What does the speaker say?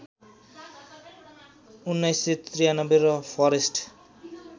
१९९३ र फरेस्ट